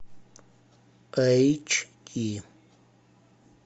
эйч ди